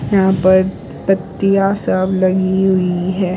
यहां पर पट्टियां सब लगी हुई है।